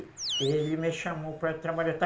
E ele me chamou para trabalhar